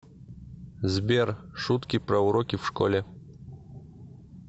сбер шутки про уроки в школе